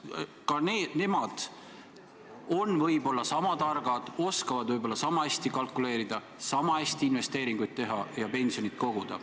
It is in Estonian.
Ka teised inimesed on võib-olla sama targad, oskavad võib-olla sama hästi kalkuleerida, sama hästi investeeringuid teha ja pensionit koguda.